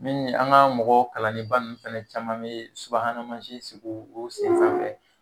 min ni an ka mɔgɔ kalannenba ninnu fɛnɛ caman bɛ subahana mansin sigi u sen sanfɛ.